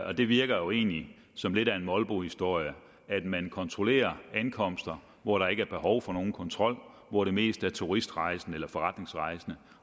og det virker jo egentlig som lidt af en molbohistorie at man kontrollerer ankomster hvor der ikke er behov for nogen kontrol hvor der mest er turistrejsende eller forretningsrejsende